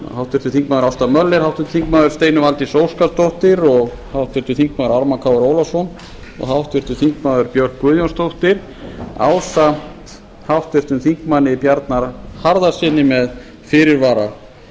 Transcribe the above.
háttvirtur þingmaður ásta möller háttvirtur þingmaður steinunn valdís óskarsdóttir háttvirtur þingmaður ármann krónu ólafsson og háttvirtur þingmaður björk guðjónsdóttir ásamt háttvirtum þingmanni bjarna harðarsyni með fyrirvara